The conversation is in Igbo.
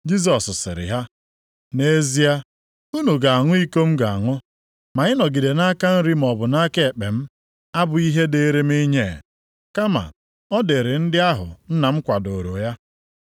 Jisọs sịrị ha, “Nʼezie unu ga-aṅụ iko m ga-aṅụ, ma ịnọdụ nʼaka nri maọbụ nʼaka ekpe m, abụghị ihe dịrị m inye, kama ọ dịịrị ndị ahụ Nna m kwadooro ya.”